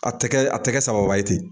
A tɛ kɛ a tɛ kɛ sababa ye ten